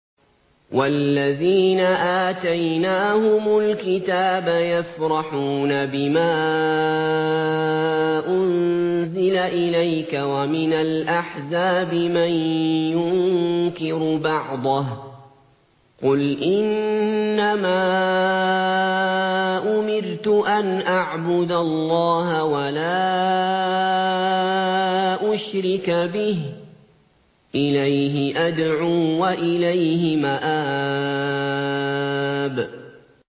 وَالَّذِينَ آتَيْنَاهُمُ الْكِتَابَ يَفْرَحُونَ بِمَا أُنزِلَ إِلَيْكَ ۖ وَمِنَ الْأَحْزَابِ مَن يُنكِرُ بَعْضَهُ ۚ قُلْ إِنَّمَا أُمِرْتُ أَنْ أَعْبُدَ اللَّهَ وَلَا أُشْرِكَ بِهِ ۚ إِلَيْهِ أَدْعُو وَإِلَيْهِ مَآبِ